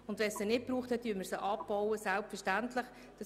Falls es sie nicht braucht, bauen wir sie selbstverständlich ab.